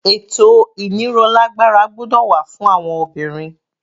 Ètò ìnírolágbára gbọ́dọ̀ wà fún àwọn obìnrin.